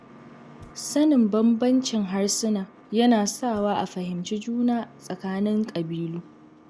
Sanin bambancin harsuna yana sawa a fahimci juna tsakanin ƙabilu